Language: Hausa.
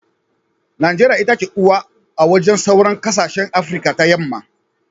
Najeriya itace uwa a wajen sauran kasashen afirika ta yamma.